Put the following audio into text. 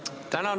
Tänan!